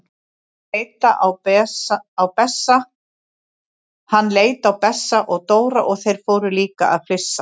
Hann leit á Bessa og Dóra og þeir fóru líka að flissa.